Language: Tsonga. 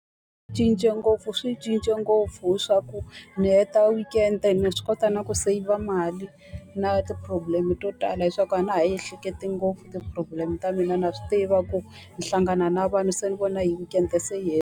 Cince ngopfu swi cince ngopfu leswaku ni heta weekend-e, na swi kota na ku seyivha mali. Na ti-problem-e to tala, hi swa ku a na ha yi ehleketi ngopfu ti-problem-e ta mina a swi tiva ku ni hlangana na vanhu se ni vona hi weekend-e se yi .